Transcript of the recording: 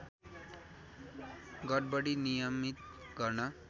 गडबडी नियमित गर्न